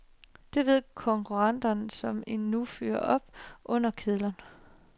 Det ved konkurrenterne, som nu fyrer op under kedlerne.